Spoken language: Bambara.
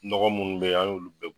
Nɔgɔ minnu bɛ yen an y'olu bɛ